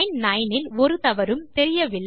line 9 ஒரு தவறும் தெரியவில்லை